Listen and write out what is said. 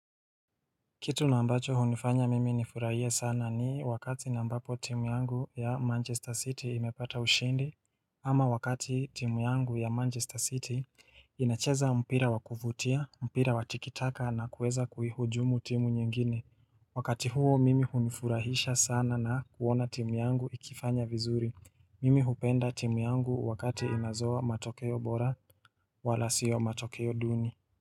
Kitu nambacho hunifanya mimi nifurahie sana ni wakati nambapo timu yangu ya Manchester City imepata ushindi ama wakati timu yangu ya Manchester City inacheza mpira wavufutia, mpira watikitaka na kuweza kuhujumu timu nyingine Wakati huo mimi hunifurahisha sana na kuona timu yangu ikifanya vizuri Mimi hupenda timu yangu wakati inazoa matokeo bora wala sio matokeo duni.